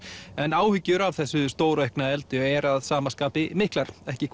en áhyggjur af þessu stóraukna eldi eru að sama skapi miklar ekki